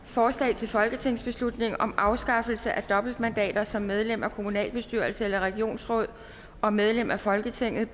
forslag til folketingsbeslutning om afskaffelse af dobbeltmandater som medlem af kommunalbestyrelse eller regionsråd og medlem af folketinget